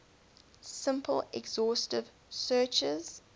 simple exhaustive searches